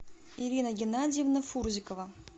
ирина геннадьевна фурзикова